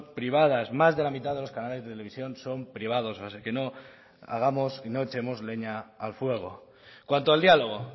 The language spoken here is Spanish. privadas más de la mitad de los canales de televisión son privados así que no echemos leña al fuego en cuanto al diálogo